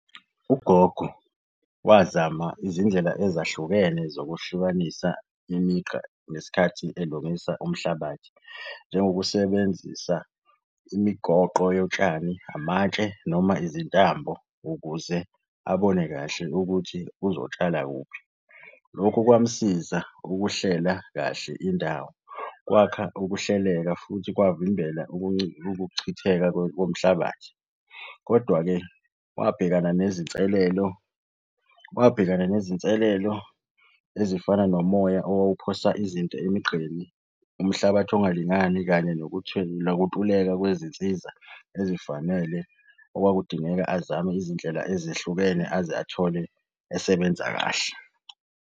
Ugogo wazama izindlela ezahlukene zokuhlukanisa imigqa ngesikhathi elungisa umhlabathi, njengokusebenzisa imigoqo yotshani, amatshe noma izintambo ukuze abone kahle ukuthi uzotshala kuphi. Lokhu kwamsiza ukuhlela kahle indawo, kwakha ukuhleleka futhi kwavimbela ukuchitheka komhlabathi, kodwa-ke, wabhekana nezinselelo, wabhekana nezinselelo ezifana nomoya owawuphosa izinto emigqeni, umhlabathi ongalingani, kanye nokuntuleka kwezinsiza ezifanele okwakudingeka azame izindlela ezehlukene aze athole esebenza kahle.